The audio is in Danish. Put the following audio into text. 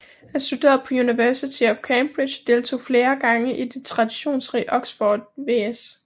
Han studerede på University of Cambridge og deltog flere gange i det traditionsrige Oxford vs